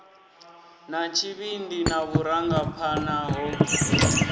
na tshivhindi na vhurangaphanḓa ho